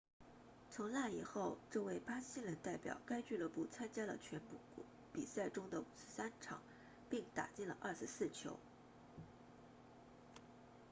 从那以后这位巴西人代表该俱乐部参加了全部比赛中的53场并打进了24球